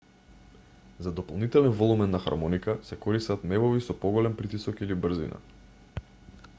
за дополнителен волумен на хармоника се користат мевови со поголем притисок или брзина